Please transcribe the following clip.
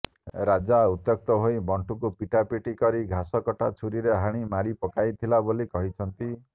ରାଜା ଉତ୍ତ୍ୟକ୍ତ ହୋଇ ମଣ୍ଟୁଙ୍କୁ ପିଟାପିଟି କରି ଘାସକଟା ଛୁରିରେ ହାଣି ମାରିପକାଇଥିଲା ବୋଲି କହୁଛନ୍ତି